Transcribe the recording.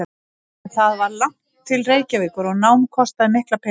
En það var langt til Reykjavíkur og nám kostaði mikla peninga.